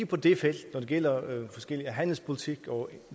på det felt når det gælder forskelle i handelspolitik og